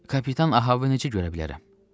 Kapitan Ahaveni necə görə bilərəm?